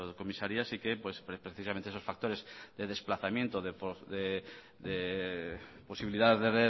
comisarías y pues precisamente esos factores de desplazamiento de posibilidad de